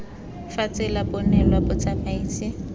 ba tsela bo neelwa motsamaisi